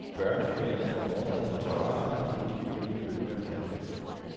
Børnefamilierne får morgenmad på terrasserne, inden de kølige bølger kalder.